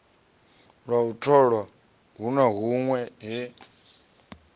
tholwa hu na hunwe he